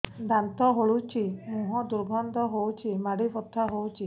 ଦାନ୍ତ ହଲୁଛି ମୁହଁ ଦୁର୍ଗନ୍ଧ ହଉଚି ମାଢି ବଥା ହଉଚି